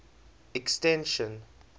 extension